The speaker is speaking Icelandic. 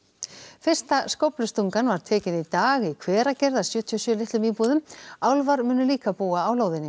fyrsta skóflustungan var tekin í dag í Hveragerði að sjötíu og sjö litlum íbúðum álfar munu líka búa á lóðinni